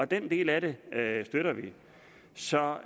den del af det støtter vi så